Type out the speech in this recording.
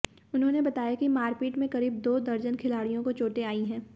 उन्होंने बताया कि मारपीट में करीब दो दर्जन खिलाड़ियों को चोंटे आई हैं